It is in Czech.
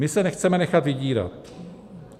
My se nechceme nechat vydírat.